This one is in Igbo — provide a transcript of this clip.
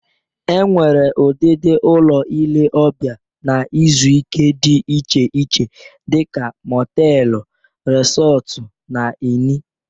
E nwere udịdị ụlọ ile ọbịa na izu ike dị iche iche dịka mọtelu, resọtụ na ini